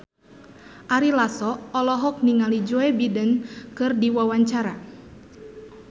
Ari Lasso olohok ningali Joe Biden keur diwawancara